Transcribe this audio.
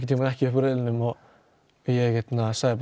við ekki upp úr riðlinum og ég sagði